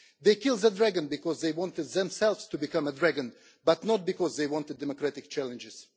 They killed the dragon because they wanted themselves to become a dragon, but not because they wanted democratic challenges.